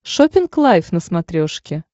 шоппинг лайф на смотрешке